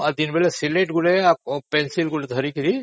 ଆଉ ଦିନବେଳେ ସିଲଟ ଆଉ ପେନସିଲ ଗୋଟେ ଧରିକି